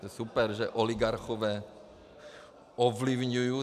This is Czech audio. To je super, že oligarchové ovlivňují.